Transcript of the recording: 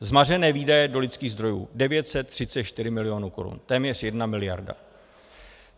Zmařené výdaje do lidských zdrojů 934 milionů korun, téměř jedna miliarda.